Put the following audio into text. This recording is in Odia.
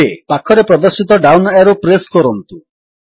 ଏବେ ପାଖରେ ପ୍ରଦର୍ଶିତ ଡାଉନ୍ ଏରୋ ପ୍ରେସ୍ କରନ୍ତୁ